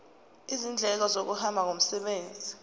izindleko zokuhamba ngomsebenzi